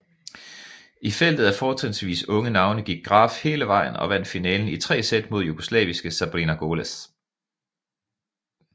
I feltet at fortrinsvis unge navne gik Graf hele vejen og vandt finalen i tre sæt mod jugoslaviske Sabrina Goleš